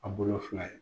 A bolo fila ye